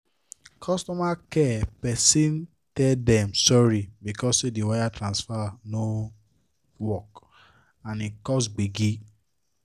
customer care person tell dem sorry because say the wire transfer no work and e cause gbege